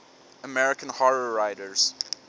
american horror writers